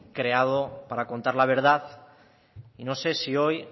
creado para contar la verdad y no sé si hoy